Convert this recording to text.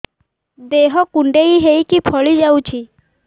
ଦେହ କୁଣ୍ଡେଇ ହେଇକି ଫଳି ଯାଉଛି